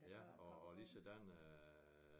Ja og ligesådan øh